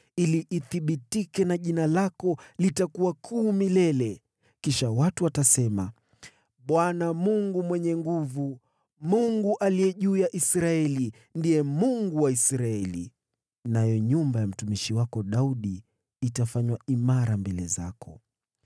ili ithibitike na jina lako litakuwa kuu milele. Kisha watu watasema, ‘ Bwana Mungu Mwenye Nguvu Zote, Mungu aliye juu ya Israeli, ndiye Mungu wa Israeli.’ Nayo nyumba ya mtumishi wako Daudi itafanywa imara mbele zako.